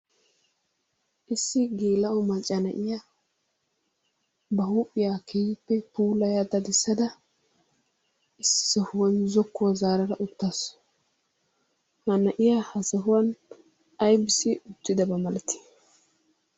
Issi geela'o macca na'iya ba huuphiya keehippe puulaya dadissada issi sohuwan zokkuwa zaarada uttaasu. Ha na'iya ha sohuwan ayibissi uttidaba malatii?